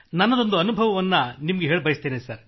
ನನ್ನದೊಂದು ಅನುಭವವನ್ನು ನಿಮಗೆ ಹೇಳ ಬಯಸುತ್ತೇನೆ